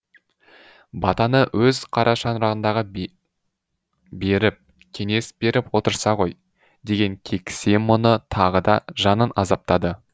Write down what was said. батаны өз қарашаңырағында беріп кеңес беріп отырса ғой деген кексе мұңы тағы да жанын азаптады